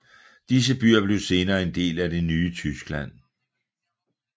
Disse byer blev senere en del af det nye Tyskland